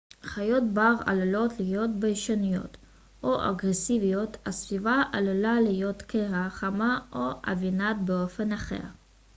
חיות בר עלולות להיות ביישניות או אגרסיביות הסביבה עלולה להיות קרה חמה או עוינת באופן אחר